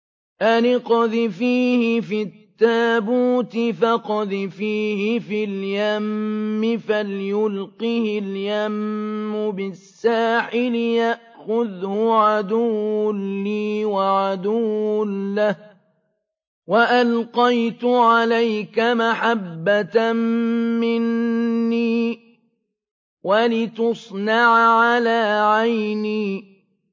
أَنِ اقْذِفِيهِ فِي التَّابُوتِ فَاقْذِفِيهِ فِي الْيَمِّ فَلْيُلْقِهِ الْيَمُّ بِالسَّاحِلِ يَأْخُذْهُ عَدُوٌّ لِّي وَعَدُوٌّ لَّهُ ۚ وَأَلْقَيْتُ عَلَيْكَ مَحَبَّةً مِّنِّي وَلِتُصْنَعَ عَلَىٰ عَيْنِي